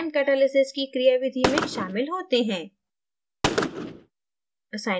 enzyme catalysis की क्रियाविधि में शामिल होते हैं